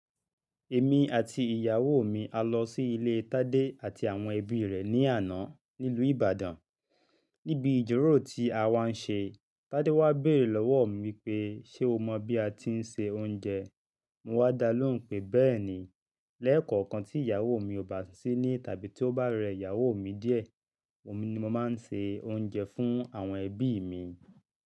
Èmi àti ìyàwó mi a lọ sí ilé Tádé àti àwọn ẹbí rẹ̀ ní àná ní ilù Ìbàdàn. Níbi ijirórò tí a wá ń ṣe, Tádé wá béèrè lọ́wọ́ mi pé, "ṣé o mọ bí a ti ń ṣe oúnjẹ?" Mo wá dalóhùn pé, "bẹ́ẹ̀ni, lẹ́ẹ̀kọ̀ọ̀kan tí ìyàwó mi ò bá sí níle tàbí tí ó bá rẹ ìyàwó mi díẹ̀, ni mo máa ń ṣe oúnjẹ fún àwọn ẹbí mi."